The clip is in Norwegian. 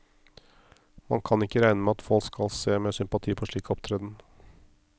Man kan ikke regne med at folk skal se med sympati på en slik opptreden.